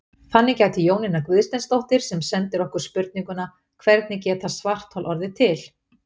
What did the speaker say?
Þannig gæti Jónína Guðsteinsdóttir sem sendir okkur spurninguna Hvernig geta svarthol orðið til?